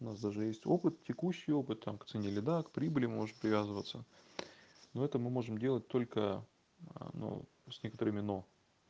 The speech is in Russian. у нас даже есть опыт текущий опыт там к цене или да к прибыли может привязываться но это мы можем делать только ну с некоторыми но